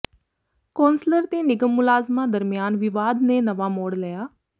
councillor ਤੇ ਨਿਗਮ ਮੁਲਾਜ਼ਮਾਂ ਦਰਮਿਆਨ ਵਿਵਾਦ ਨੇ ਨਵਾਂ ਮੋੜ ਲਿਆ